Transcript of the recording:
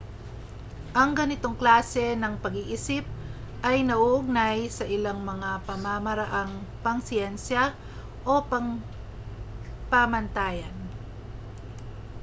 ang ganitong klase ng pag-iisip ay nauugnay sa ilang mga pamamaraang pangsiyensiya o pangpamantayan